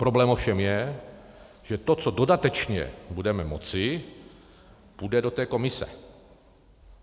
Problém ovšem je, že to, co dodatečně budeme moci, půjde do té komise.